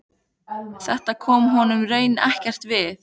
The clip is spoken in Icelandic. Þetta kom honum raunar ekkert við.